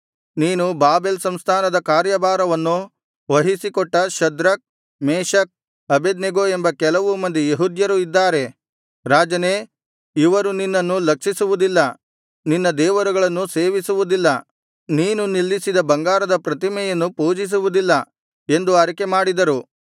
ನೀನು ಬಾಬೆಲ್ ಸಂಸ್ಥಾನದ ಕಾರ್ಯಭಾರವನ್ನು ವಹಿಸಿಕೊಟ್ಟ ಶದ್ರಕ್ ಮೇಶಕ್ ಅಬೇದ್ನೆಗೋ ಎಂಬ ಕೆಲವು ಮಂದಿ ಯೆಹೂದ್ಯರು ಇದ್ದಾರೆ ರಾಜನೇ ಇವರು ನಿನ್ನನ್ನು ಲಕ್ಷಿಸುವುದಿಲ್ಲ ನಿನ್ನ ದೇವರುಗಳನ್ನು ಸೇವಿಸುವುದಿಲ್ಲ ನೀನು ನಿಲ್ಲಿಸಿದ ಬಂಗಾರದ ಪ್ರತಿಮೆಯನ್ನು ಪೂಜಿಸುವುದಿಲ್ಲ ಎಂದು ಅರಿಕೆಮಾಡಿದರು